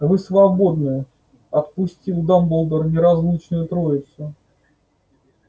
вы свободны отпустил дамблдор неразлучную троицу